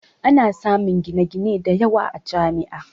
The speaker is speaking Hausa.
Ana samun gine-gine da yawa a Jami'a